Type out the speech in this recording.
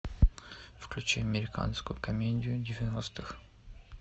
включи американскую комедию девяностых